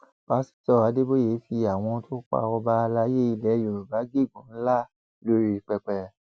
pásítọ adéboye fi àwọn tó pa ọba àlàyé ilẹ yorùbá gégùnún ńlá lórí pẹpẹ